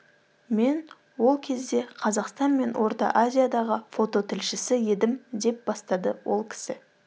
мен ол кезде қазақстан мен орта азиядағы фототілшісі едім деп бастады ол кісі